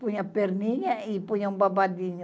Punha perninha e punha um babadinho.